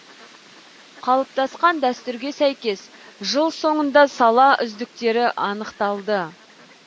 қалыптасқан дәстүрге сәйкес жыл соңында сала үздіктері анықталды